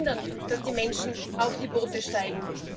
Wir müssen verhindern, dass die Menschen auf die Boote steigen.